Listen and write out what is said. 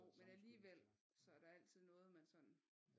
Jo men alligevel så er der altid noget man sådan